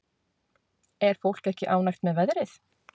Er fólk ekki ánægt með veðrið?